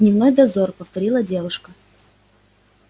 дневной дозор повторила девушка